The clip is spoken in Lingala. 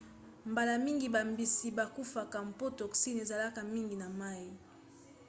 mbala mingi bambisi bakufaka mpo toxine ezalaka mingi na mai